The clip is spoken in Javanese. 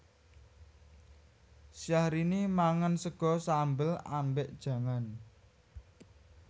Syahrini mangan sego sambel ambek jangan